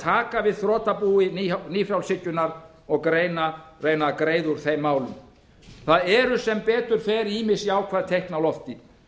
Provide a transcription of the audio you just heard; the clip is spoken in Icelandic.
taka við þrotabúi nýfrjálshyggjunnar og reyna að greiða úr þeim málum það eru sem betur fer ýmis jákvæð teikn á lofti